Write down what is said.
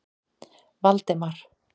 Valdemar